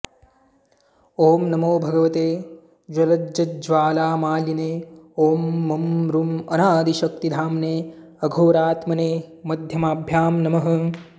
ॐ नमो भगवते ज्वलज्ज्वालामालिने ॐ मं रूं अनादिशक्तिधाम्ने अघोरात्मने मध्यमाभ्यां नमः